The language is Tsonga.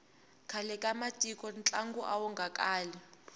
khale ka matiko ntlangu awu nga kali